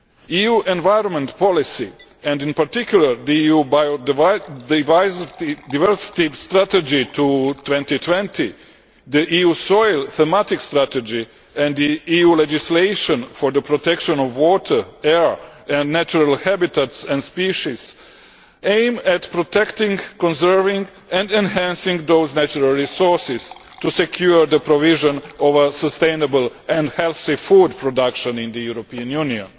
EU environment policy, and in particular the EU biodiversity strategy to 2020, the EU soil thematic strategy and EU legislation for the protection of water, air and natural habitats and species, aim at protecting, conserving and enhancing those natural resources to secure the provision of sustainable and healthy food production in the European Union.